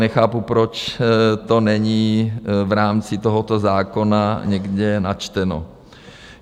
Nechápu, proč to není v rámci tohoto zákona někde načteno.